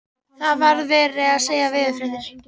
Það var verið að segja veðurfréttir.